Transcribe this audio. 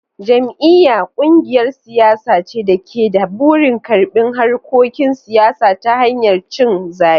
Jam'iyya: Kungiyar siyasa ce da ke da burin karbi harkokin siyasa ta hanyar cin zabe.